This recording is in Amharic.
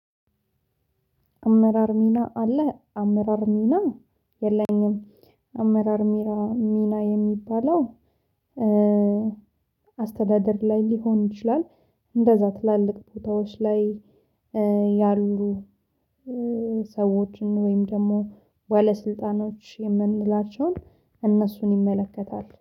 አመራር ሚና አለህ አመራር ሚና የለኝም። አመራር ሚራ ሚና የሚባለው አስተዳደር ላይ ሊሆን ይችላል። እንደዛ ትላልቅ ቦታዎች ላይ ያሉ ሰዎችን ወይም ደግሞ ባለስልጣኖች የምንላቸውን እነሱን ይመለከታል